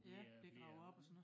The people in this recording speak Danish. Ja bliver gravet op og sådan noget